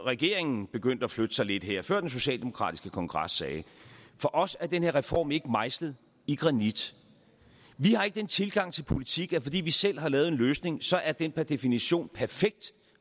regeringen begyndte at flytte sig lidt her før den socialdemokratiske kongres sagde for os er den her reform ikke mejslet i granit vi har ikke den tilgang til politik at fordi vi selv har lavet en løsning så er den per definition perfekt